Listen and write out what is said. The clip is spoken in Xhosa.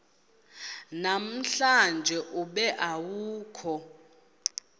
namhlanje ube awukho